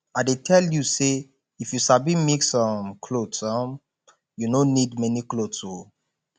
i dey tell you say if you sabi mix um clothes you um no need many clothes oo